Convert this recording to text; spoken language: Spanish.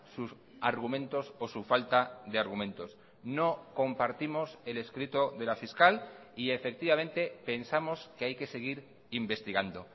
sus argumentos o su falta de argumentos no compartimos el escrito de la fiscal y efectivamente pensamos que hay que seguir investigando